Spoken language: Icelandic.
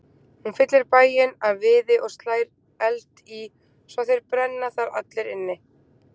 Hún fyllir bæinn af viði og slær eldi í svo þeir brenna þar allir inni.